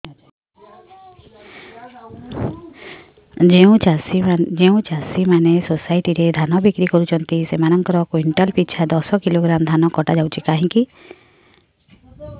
ଯେଉଁ ଚାଷୀ ମାନେ ସୋସାଇଟି ରେ ଧାନ ବିକ୍ରି କରୁଛନ୍ତି ସେମାନଙ୍କର କୁଇଣ୍ଟାଲ ପିଛା ଦଶ କିଲୋଗ୍ରାମ ଧାନ କଟା ଯାଉଛି କାହିଁକି